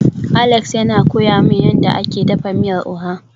Alex yana koya min yadda ake dafa miyar oha